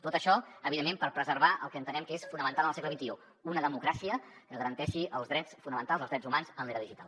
tot això evidentment per preservar el que entenem que és fonamental en el segle xxi una democràcia que garanteixi els drets fonamentals els drets humans en l’era digital